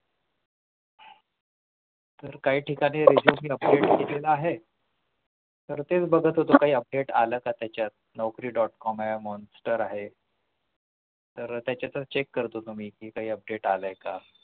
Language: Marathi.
तर काही ठिकाणी मी Resume update केलेलं आहे तर तेच बघत होतो update आल का त्याच्यात Naukri. com आहे आहे तर त्याच्यातच check करत होतो मी कि काही update आलंय का